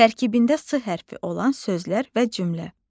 Tərkibində S hərfi olan sözlər və cümlə.